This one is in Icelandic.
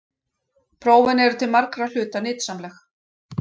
Prófin eru til margra hluta nytsamleg.